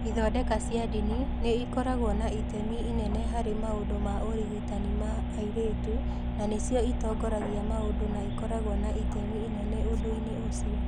Ithondeka cia ndini nĩ ikoragwo na itemi inene harĩ maũndũ ma ũrigitani ma airĩtu, na nĩcio itongoragia maũndũ na ikoragwo na itemi inene ũndũ-inĩ ũcio.